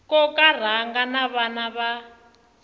koka rhanga na vana va